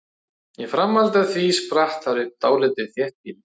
Í framhaldi af því spratt þar upp dálítið þéttbýli.